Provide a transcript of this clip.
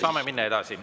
Saame minna edasi.